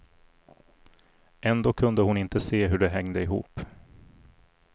Ändå kunde hon inte se hur det hängde ihop.